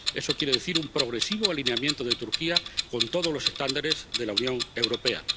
Eso quiere decir un progresivo alineamiento de Turquía con todos los estándares de la Unión Europea.